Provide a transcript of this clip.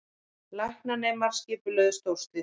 Læknanemar skipulögðu stórslys